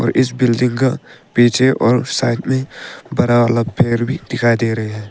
इस बिल्डिंग का पीछे और साइड में बड़ा वाला पेड़ भी दिखाई दे रहे हैं।